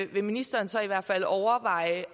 vil ministeren så i hvert fald overveje